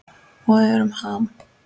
Og við erum Ham.